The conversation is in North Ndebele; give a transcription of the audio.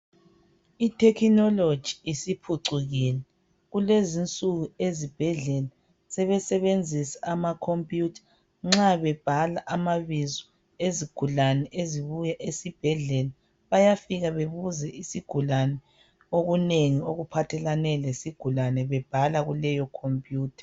Ithekinoloji isiphucukile. Kulezi insuku ezibhedlela sebesenzisa amakhompiyutha nxa bebhala amabizo ezigulane ezibuya esibhedlela. Bayafika bebuze isigulane okunengi okuphathelane lesigulane bebhala kuleyo khompiyutha.